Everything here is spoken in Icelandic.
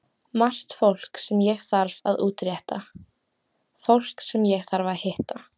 Margt sem ég þarf að útrétta, fólk sem ég þarf að hitta.